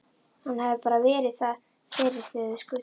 Hann hefði bara verið fyrir þegar þeir skutu.